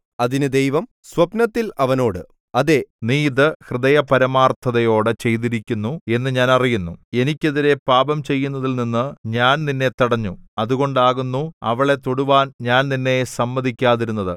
അതിന് ദൈവം സ്വപ്നത്തിൽ അവനോട് അതേ നീ ഇത് ഹൃദയപരമാർത്ഥതയോടെ ചെയ്തിരിക്കുന്നു എന്ന് ഞാൻ അറിയുന്നു എനിക്കെതിരെ പാപം ചെയ്യുന്നതിൽനിന്ന് ഞാൻ നിന്നെ തടഞ്ഞു അതുകൊണ്ടാകുന്നു അവളെ തൊടുവാൻ ഞാൻ നിന്നെ സമ്മതിക്കാതിരുന്നത്